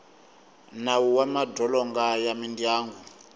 nawu wa madzolonga ya mindyangu